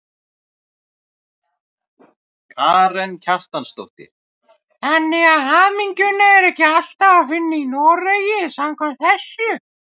Karen Kjartansdóttir: Þannig að hamingjuna er ekki alltaf að finna í Noregi samkvæmt þessu?